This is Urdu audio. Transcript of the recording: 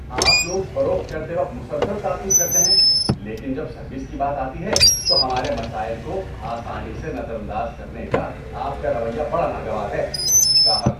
آپ لوگ فروخت کرتے وقت مسلسل تعاقب کرتے ہیں لیکن جب سروس کی بات آتی ہے تو ہمارے مسائل کو آسانی سے نظر انداز کرنے کا آپ کا رویہ بڑا ناگوار ہے۔ (گاہک)